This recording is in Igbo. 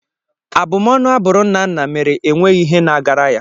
Abumọnu a bụrụ Nnanna mere enweghị ihe na-agara ya.